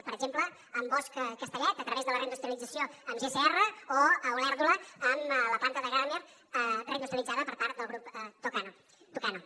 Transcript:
per exemple amb bosch castellet a través de la reindustrialització amb gsr o a olèrdola amb la planta de grammer reindustrialitzada per part del grup tucano